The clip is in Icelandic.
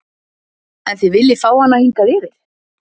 En þið viljið fá hana hingað yfir?